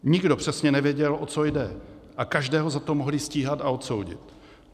Nikdo přesně nevěděl, o co jde, ale každého za to mohli stíhat a odsoudit.